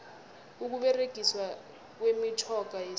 ukuberegiswa kwemitjhoga yesintu